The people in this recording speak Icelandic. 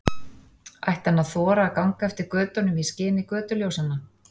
Ætti hann að þora að ganga eftir götunum í skini götuljósanna?